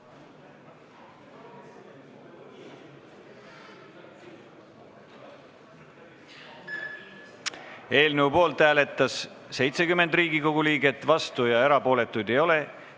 Hääletustulemused Eelnõu poolt hääletas 70 Riigikogu liiget, vastuolijaid ega erapooletuid ei ole.